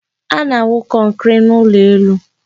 A na-awụ kọnkri n'ụlọ elu.